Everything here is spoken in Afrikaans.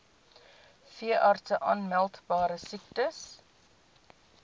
veeartse aanmeldbare siektes